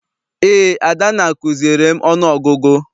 Eé, Adanna kuziere m ọnụ ọgụgụ.